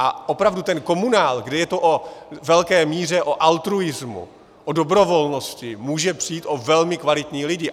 A opravdu ten komunál, kde je to ve velké míře o altruismu, o dobrovolnosti, může přijít o velmi kvalitní lidi.